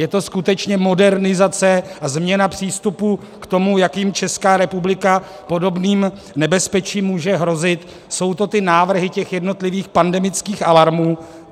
Je to skutečně modernizace a změna přístupu k tomu, jakým Česká republika podobným nebezpečím může hrozit, jsou to ty návrhy těch jednotlivých pandemických alarmů.